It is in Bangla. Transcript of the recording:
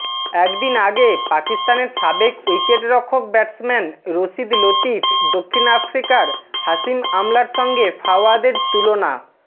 একদিন আগে পাকিস্তানের সাবেক উইকেটরক্ষক ব্যাটসম্যান রশিদ লতিফ দক্ষিণ আফ্রিকার হাশিম আমলার সঙ্গে ফাওয়াদের তুলনা